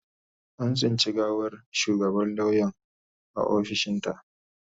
An tsinci gawar shugabar lauyan a ofishinta.